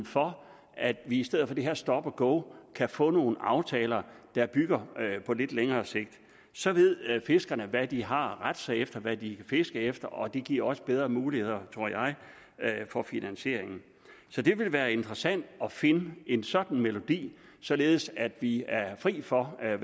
for at vi i stedet for det her stop go kan få nogle aftaler på lidt længere sigt så ved fiskerne hvad de har rette sig efter hvad de fiske efter og det giver også bedre muligheder tror jeg for finansiering så det ville være interessant at finde en sådan melodi således at vi er fri for at